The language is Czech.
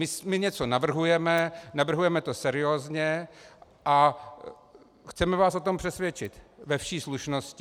My něco navrhujeme, navrhujeme to seriózně a chceme vás o tom přesvědčit ve vší slušnosti.